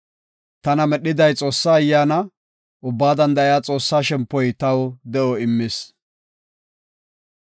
Tana medhiday Xoossaa Ayyaana; Ubbaa Danda7iya Xoossaa shempoy taw de7o immis.